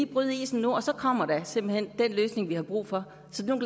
bryde isen nu og så kommer der simpelt hen den løsning vi har brug for så nu